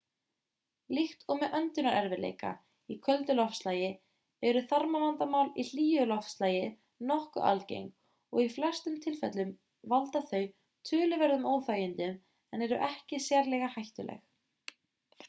líkt og með öndunarerfiðleika í köldu loftslagi eru þarmavandamál í hlýju loftslagi nokkuð algeng og í flestum tilfellum valda þau töluverðum óþægindum en eru ekki sérlega hættuleg